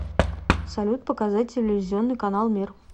салют показать телевизионный канал мир